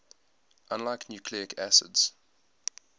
unlike nucleic acids